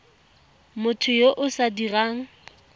motho yo o sa dirang